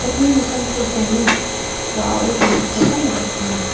nisankoba songe wa·ao donakoba nikatenga.